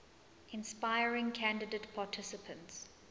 inspiring candidate participants